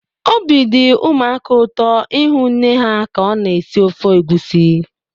Obi dị ụmụaka ụtọ ịhụ nne ha ka ọ na-esi ofe egusi.